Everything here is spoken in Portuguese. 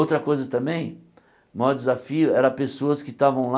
Outra coisa também, o maior desafio era pessoas que estavam lá